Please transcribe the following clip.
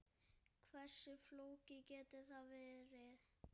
Hversu flókið getur það verið?